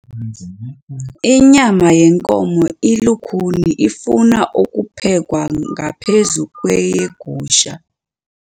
Inyama yenkomo ilukhuni ifuna ukuphekwa ngaphezu kweyegusha.